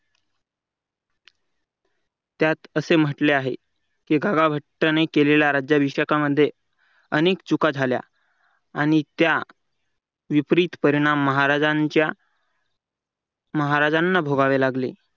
त्यात असे म्हटले आहे की गागाभट्टाने केलेल्या राज्याभिषेकांमध्ये अनेक चुका झाल्या आणि त्या विपरीत परिणाम महाराजांच्या महाराजांना भोगावे लागले.